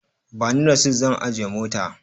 Ba ni rasit zan ajiye mota.